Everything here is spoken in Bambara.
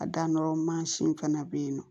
A danyɔrɔ mansin fana bɛ yen nɔ